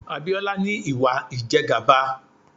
Abiola ní Ìwà ìjẹgàba.